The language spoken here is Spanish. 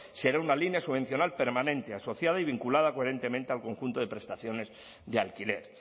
será una línea subvencional permanente asociada y vinculada coherentemente al conjunto de prestaciones de alquiler